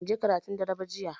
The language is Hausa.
Banje karatun dare ba jiya